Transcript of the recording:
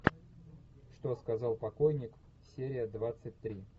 что сказал покойник серия двадцать три